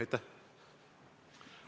Aitäh!